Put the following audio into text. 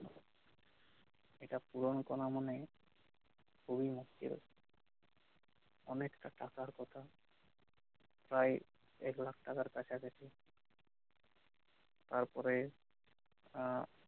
এটা পুরন করা মানেই খুবই মুস্কিল অনেকটা টাকার কথা প্রায় এক লাখ টাকার কাছাকাছি তারপরে